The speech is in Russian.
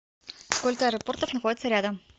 сколько аэропортов находится рядом